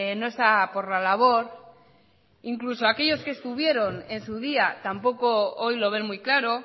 no está por la labor incluso aquellos que estuvieron en su día tampoco hoy lo ven muy claro